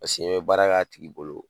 Paseke i baara k'a tigi bolo